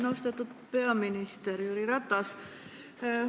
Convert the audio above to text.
Austatud peaminister Jüri Ratas!